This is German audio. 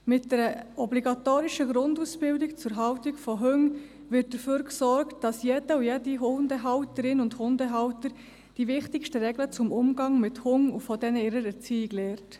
Mit einer obligatorischen Grundausbildung zur Haltung von Hunden wird dafür gesorgt, dass jede Hundehalterin und jeder Hundehalter die wichtigsten Regeln für den Umgang mit Hunden und ihrer Erziehung lernt.